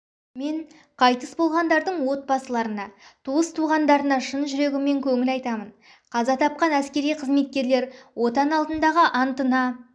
мен қайтыс болғандардың отбасыларына туыс-туғандарына шын жүрегіммен көңіл айтамын қаза тапқан әскери қызметкерлер отан алдындағы антына